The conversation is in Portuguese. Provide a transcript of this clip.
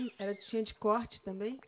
Era de, tinha de corte também?